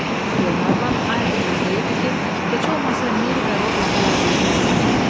Qlenarvan Ayertona deyirdi ki, heç olmasa Meri və Roberta yazığı gəlsin.